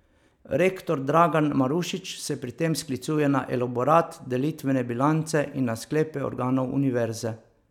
Rektor Dragan Marušič se pri tem sklicuje na elaborat delitvene bilance in na sklepe organov univerze.